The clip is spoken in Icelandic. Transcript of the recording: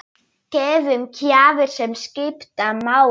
Gefum gjafir sem skipta máli.